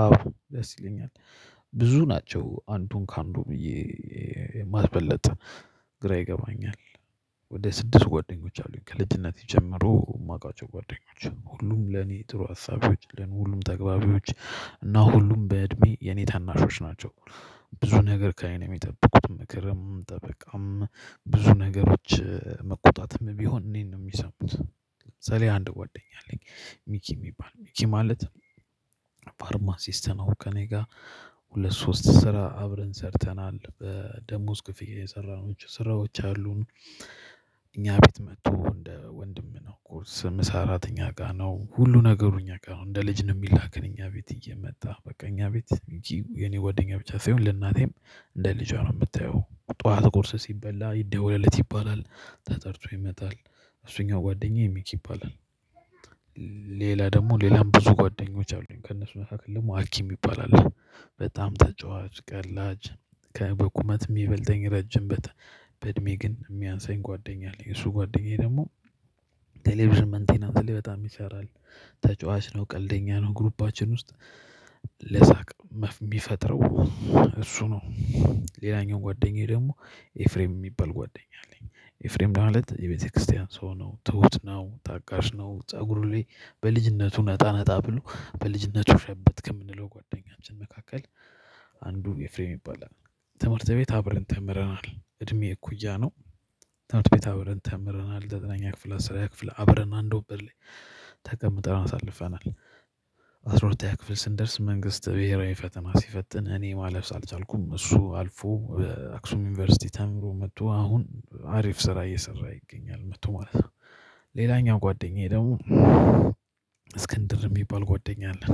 አዎ ደስ ይለኛል ብዙ ናቸው አንዱን ከአንዱ ብዬ ለማስበልጥ ግራ ይገባኛል። ወደ ስድስት ጓደኞች አሉኝ ከልጅነቴ ጀምሮ የማውቃቸው ጓደኞች ሁሉም ለኔ ጥሩ አሳቢዎች ለኔ ሁሉም ተግባቢዎች እና ሁሉም በእድሜ የኔ ታናሾች ናቸው። ብዙ ነገር ከእኔ ነው የሚጠብቁት ምክርም ጠበቃም ብዙ ነገሮች መቆጣትም ቢሆን እኔን ነው የሚሰሙት ምሳሌ አንድ ጓደኛ አለኝ ሚኪ የሚባል ሚኪ ማለት ፋርማ ሲስትነው ከእኔ ጋር ሁለት ሶስት ስራ አብረን ሰርተናል በደመወዝ ክፍያ የሰራናችው ስራዎች አሉን። እኛ ቤት መጥቶ እንደ ወንድም ነው ቁርስ ምሳ እራት እኛ ጋር ነው ሁሉ ነገሩ እኛ ጋር ነው እንደ ልጅ ነው የሚላክን እኛ ቤት እየመጣ በቃ እኛ ቤት እንጂ የኔ ጓደኛ ብቻ ሳይሆን ለእናቴም እንደ ልጇ ነው የምታየው ጠዋት ቁርስ ሲበላ ይደወልለት ይባላል ተጠርቶ ይመጣል እሱኛው ጓደኛዬ ሚኪ ይባላል። ሌላ ደግሞ ሌላም ብዙ ጓደኞች አሉኝ ከእነሱ መካከል ደግሞ አኪ ይባላል። በጣም ተጫዋች ቀላጅ ከበቁመት የሚበልጠኝ ረጅም በተ በእድሜ ግን የሚያንሰኝ ጓደኛ አለኝ እሱ ጓደኛዬ ደግሞ ቴሌቪዥን መንቴናንስ ላይ በጣም ይሰራል ተጫዋች ነው ቀልደኛ ነው ግሩፓችን ውስጥ ለሳቅ የሚፈጥረው እሱ ነው። ሌላኛው ጓደኛዬ ደግሞ ኤፍሬም የሚባል ጓደኛ አለኝ ኤፍሬም ማለት የቤተክርስቲያን ሰው ነው ትሁት ነው ታጋሽ ነው ፀጉሩ ላይ በልጅነቱ ነጣ ነጣ ብሎ በልጅነቱ ሸበትክ ከምንለው ጓደኛችን መካከል አንዱን ኤፍሬም ይባላል። ትምህርት ቤት አብረን ተምረናል እድሜ እኩያ ነው። ትምህርት ቤት አብረን ተምረናል ዘጠነኛ ክፍል አስረኛ ክፍል አብረን አንድ ወንበር ላይ ተቀምጠን አሳልፈናል። አስራ ሁለተኛ ክፍል ስንደርስ መንግስት ብሄራዊ ፈተና ሲፈትን እኔ ማለፍ አልቻልኩም እሱ አልፎ። አክሱም ዩኒቨርሲቲ ተምሮ መጥቶ አሁን አሪፍ ስራ እየሰራ ይገኛል መጥቶ ማለት ነው። ሌላኛው ጓደኛዬ ደግሞ እስክንድር የሚባል ጓደኛ አለን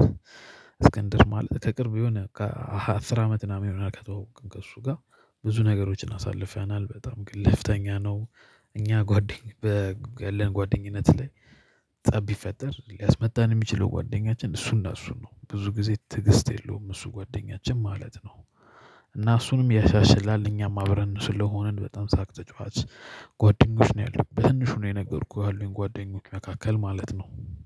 እስክንድር ማለት ከቅርብ የሆነ ከአስር አመት ምናምን ይሆናል ከተዋወቅን ከእሱ ጋር ብዙ ነገሮችን አሳልፈናል በጣም ግልፍተኛ ነው። እኛ ጓደኝ በ ያለን ጓደኝነት ላይ ጠብ ቢፈጠር ሊያስመታን የሚችለው ጓደኛችን እሱና እሱ ነው ብዙ ጊዜ ትዕግስት የለውም እሱ ጓደኛችን ማለት ነው። እና እሱንም ያሻሽላል እኛም አብረን ስለሆንን በጣም ሳቅ ተጫዋች ጓደኞች ነው ያሉኝ በትንሹ ነው የነገርኩህ ካሉኝ ጓደኞች መካከል ማለት ነው።